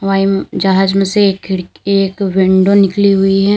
जहाज में से एक खिड़ विंडो निकली हुई हैं।